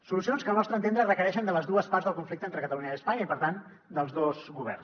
solucions que al nostre entendre requereixen les dues parts del conflicte entre catalunya i espanya i per tant els dos governs